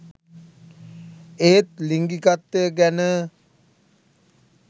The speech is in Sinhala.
ඒත් ලිංගිකත්වය ගැන